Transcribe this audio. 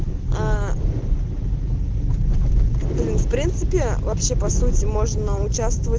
аа блин в принципе вообще по сути можно участвовать